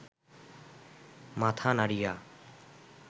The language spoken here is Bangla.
মাথা নাড়িয়া